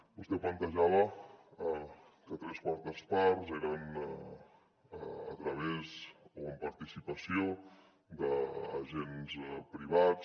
vostè plantejava que tres quartes parts eren a través o amb participació d’agents privats